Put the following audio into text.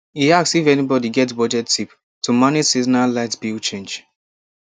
e ask if anybody get budget tip to manage seasonal light bill change